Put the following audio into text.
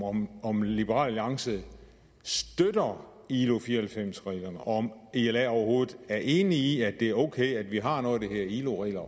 om om liberal alliance støtter ilo fire og halvfems reglerne og om i la overhovedet er enige i at det er okay at vi har noget der hedder ilo regler